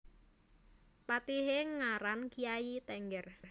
Patihé ngaran Kyai Tengger